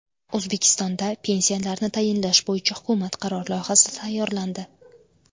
O‘zbekistonda pensiyalarni tayinlash bo‘yicha hukumat qarori loyihasi tayyorlandi.